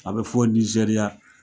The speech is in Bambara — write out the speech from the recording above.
A bɛ fɔ Nizeriya